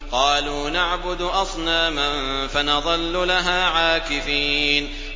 قَالُوا نَعْبُدُ أَصْنَامًا فَنَظَلُّ لَهَا عَاكِفِينَ